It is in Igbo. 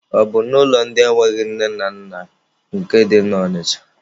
Ọ bụ n'ụlọ ndị enweghị nne na nna nke dị na Ọnịcha.